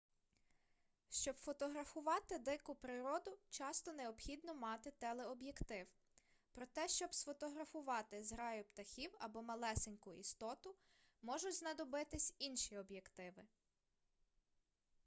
щоб фотографувати дику природу часто необхідно мати телеоб'єктив проте щоб сфотографувати зграю птахів або малесеньку істоту можуть знадобитись інші об'єктиви